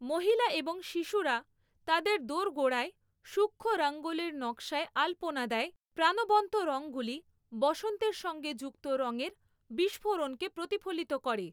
মহিলা এবং শিশুরা তাদের দোরগোড়ায় সূক্ষ্ম রঙ্গোলির নকশায় আলপনা দেয়, প্রাণবন্ত রঙগুলি বসন্তের সঙ্গে যুক্ত রঙের বিস্ফোরণকে প্রতিফলিত করে।